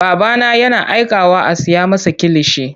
Babana yana aikawa a siya masa kilishi.